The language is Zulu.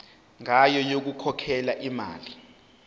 ngayo yokukhokhela imali